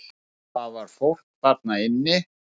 Það var fólk þarna inni!